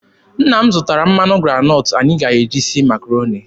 Nna m zụtara mmanụ granọtụ anyị ga-eji sie Makaroni.